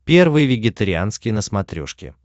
первый вегетарианский на смотрешке